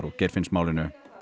og Geirfinnsmálinu